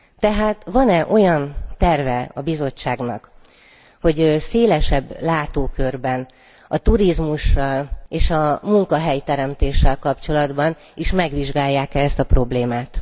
Tehát van e olyan terve a Bizottságnak, hogy szélesebb látókörben, a turizmussal és a munkahelyteremtéssel kapcsolatban is megvizsgálják ezt a problémát.